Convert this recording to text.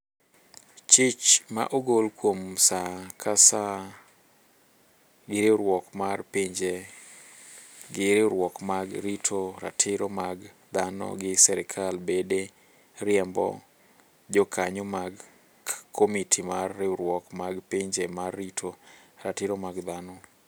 Chich mo ogol kuom saa ka saa gi riwriuok mar pinje gi riwruoge mag rito ratiro mag dhano gi serikal bede riembo jokanyo mag komiti mar riwruok mag pinje mar rito ratiro mag dhano